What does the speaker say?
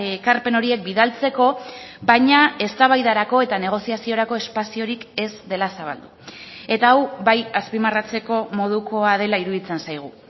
ekarpen horiek bidaltzeko baina eztabaidarako eta negoziaziorako espaziorik ez dela zabaldu eta hau bai azpimarratzeko modukoa dela iruditzen zaigu